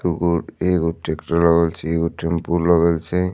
दूगो एगो ट्रैक्टर लगल छै एगो टेम्पो लगल छै--